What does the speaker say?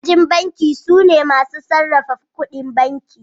Ma'ajin banki sune masu sarrafa ƙudin banki.